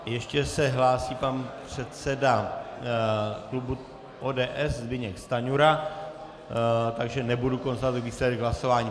Ještě se hlásí pan předseda klubu ODS Zbyněk Stanjura, takže nebudu konstatovat výsledek hlasování.